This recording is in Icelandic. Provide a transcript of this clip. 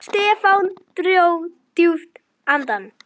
Stefán dró djúpt andann.